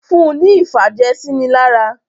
Fún ní ìfàjẹ̀sínilára!